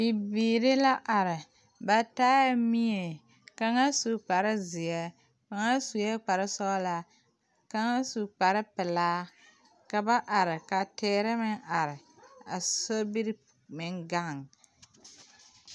Bibiiri la are ba taa la mie kaŋa su kparezeɛ kaŋa sue kparesɔglaa kaŋa su kparepelaa ka ba are ka teere meŋ are a sobiri meŋ gaŋ.